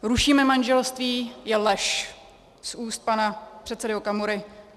Rušíme manželství je lež z úst pana předsedy Okamury.